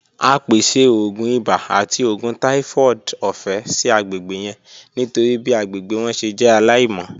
A pese oogun ibà ati oògùn typhoid ọfẹ si agbegbe yẹn nitori bi agbegbe wọn ṣe jẹ alaimọ.